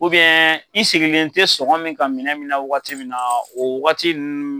i sigilen tɛ sɔgɔn min kan minɛn min na wagati min na o wagati nun